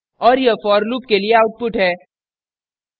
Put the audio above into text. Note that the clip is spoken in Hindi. और यह for loop के लिए output है